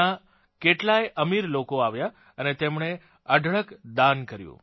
ત્યાં કેટલાય અમીર લોકો આવ્યાં અને તેમણે અઢળક દાન કર્યું